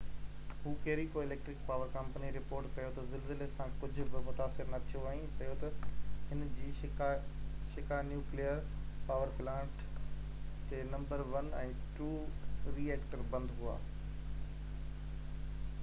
Hokuriku electric power company report ڪيو ته زلزلي سان ڪجهه به متاثر نه ٿيو ۽ چيو ته هن جي شيڪا نيوڪليئر پاور پلانٽ تي نمبر 1 ۽ 2 ري ايڪٽر بند هئا